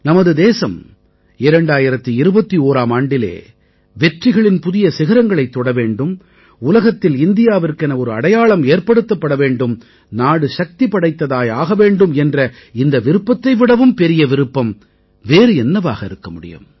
நமது தேசம் 2021ஆம் ஆண்டிலே வெற்றிகளின் புதிய சிகரங்களைத் தொட வேண்டும் உலகத்தில் இந்தியாவிற்கென ஒரு அடையாளம் ஏற்படுத்தப்பட வேண்டும் நாடு சக்தி படைத்ததாய் ஆக வேண்டும் என்ற இந்த விருப்பத்தை விடவும் பெரிய விருப்பம் வேறு என்னவாக இருக்க முடியும்